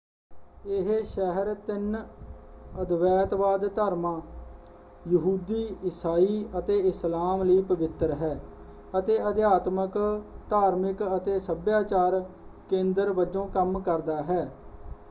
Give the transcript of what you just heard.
ਇਹ ਸ਼ਹਿਰ ਤਿੰਨ ਅਦਵੈਤਵਾਦ ਧਰਮਾਂ- ਯਹੂਦੀ ਈਸਾਈ ਅਤੇ ਇਸਲਾਮ ਲਈ ਪਵਿੱਤਰ ਹੈ ਅਤੇ ਅਧਿਆਤਮਕ ਧਾਰਮਿਕ ਅਤੇ ਸੱਭਿਆਚਾਰਕ ਕੇਂਦਰ ਵਜੋਂ ਕੰਮ ਕਰਦਾ ਹੈ।